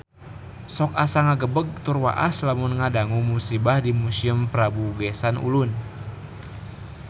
Sok asa ngagebeg tur waas lamun ngadangu musibah di Museum Prabu Geusan Ulun